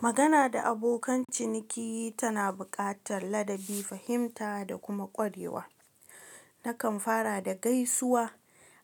Magana da abokan ciniki tana buƙatar ladabi, fahimta da kuma ƙwarewa. Nakan fara da gaisuwa,